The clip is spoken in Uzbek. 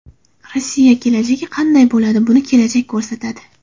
Rossiya kelajagi qanday bo‘ladi, buni kelajak ko‘rsatadi.